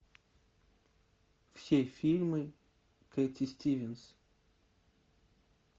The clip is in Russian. все фильмы кэти стивенс